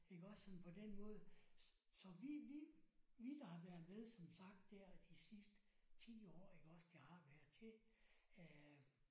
Iggås sådan på den måde så vi vi vi der har været med som sagt der de sidste 10 år iggås det har været til øh